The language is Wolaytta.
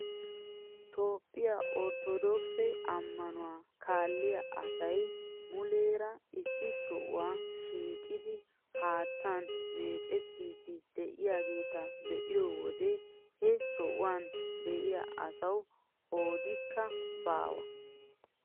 Itoophphiyaa orttodookise ammanuwaa kaaliyaa asay muleera issi sohuwaa shiiqidi haattan meecettiidi de'iyaageta be'iyoo wode he sohuwaan de'iyaa asawu qoodikka baawa!